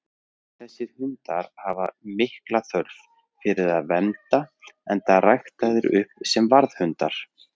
Þessir hundar hafa mikla þörf fyrir að vernda, enda ræktaðir upp sem varðhundar.